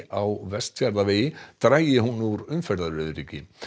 á Vestfjarðavegi dragi hún úr umferðaröryggi